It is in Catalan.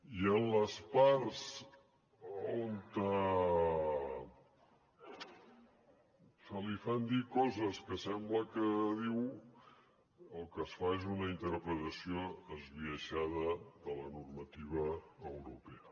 i en les parts on se li fan dir coses que sembla que diu el que es fa és una interpretació esbiaixada de la normativa europea